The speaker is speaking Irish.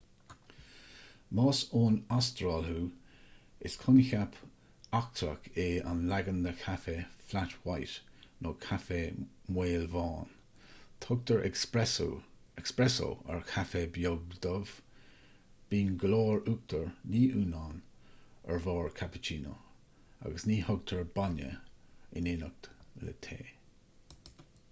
más ón astráil thú is coincheap eachtrach é an leagan de chaife 'flat white' nó 'caife maolbhán'. tugtar 'espresso' ar chaife beag dubh bíonn go leor uachtair ní uanán ar bharr cappuccino agus ní thugtar bainne in éineacht le tae